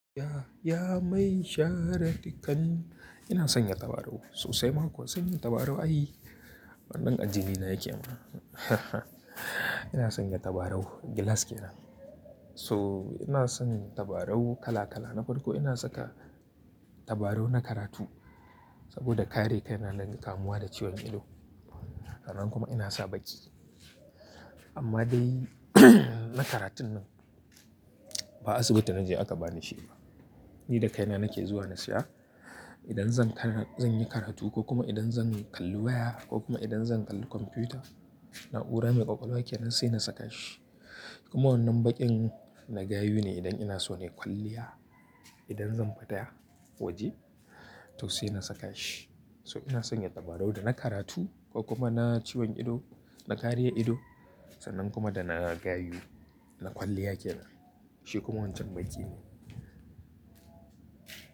Ya, ya mai shara dukan. Ina sanya tabarau sosai ma kuwa sanya tabarau ayi. Wannan ajinina yake ama Ina sanya tabarau gilas ke nan. So ina son tabarau kala kala. Na farko ina saka tabarau na karatu saboda kare kaina daga kamuwa da ciwon ido. Nan kuma ina sa baki. Amma dai na karatun nan ba asibiti na je aka bani shi ba. Ni da kaina nake zuwa na siya. Idan zan kar-- zanyi karatu ko kuma idan zan kalli waya ko kuma idan zan kalli kwamfiyuta, na'ura mai kwakwalwa ke nan sai na saka shi. Kuma wannan baƙin na gayu ne idan ina so na yi kwalliya. Idan zan fada waje to sai na saka shi. So ina sanya tabarau da na karatu ko kuma na ciwon ido, na karya ido sannan kuma da na gayu, na kwalliya ke nan. Shi kuma wancan baƙi ne.